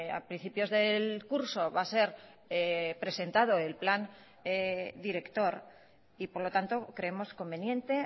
a principios del curso va a ser presentado el plan director y por lo tanto creemos conveniente